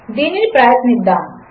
దీనినిప్రయత్నిద్దాము